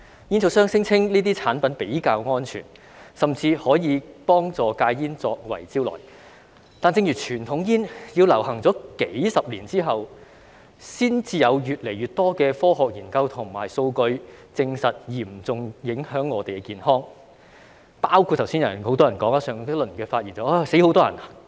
煙草商聲稱這些產品比較安全，甚至以可以幫助戒煙作為招徠，但正如傳統煙也是在流行數十年之後，才有越來越多的科學研究和數據，證實會嚴重影響我們的健康——在上一輪發言時，很多人說會有很多人死亡，但吸煙才真正會導致很多人死亡。